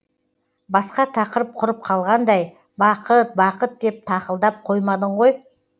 басқа тақырып құрып қалғандай бақыт бақыт деп тақылдап қоймадың ғой